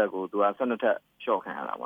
ပ်ကို သူက ၁၂ ထပ်လျှော့ခံရတာပေါ